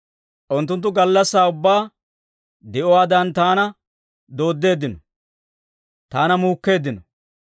Unttunttu gallassaa ubbaa di'uwaadan taana dooddeeddino; taana muukkeeddino.